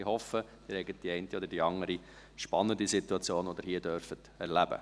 Ich hoffe, es gebe die eine oder andere spannende Situation, die sie hier erleben dürfen.